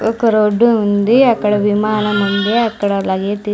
ఒక రోడ్డు ఉంది అక్కడ విమానం ఉంది అక్కడ అలాగే --